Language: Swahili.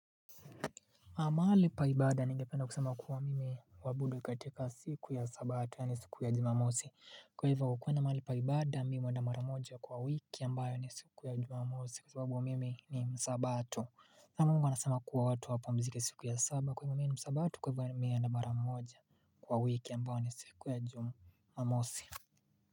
Amali pa ibada ningependa kusema kuwa mimi huabudu katika siku ya sabato yaani siku ya jumamosi Kwa hivyo ukuwe na mahali pa ibada mimi huenda mara moja kwa wiki ambayo ni siku ya jumamosi kwa sababu mimi ni msabato na mungu anasema kuwa watu wapumzike siku ya saba kwa hivyo mimi ni msabato kwa hivyo mi huenda mara moja kwa wiki ambayo ni siku ya jumamosi.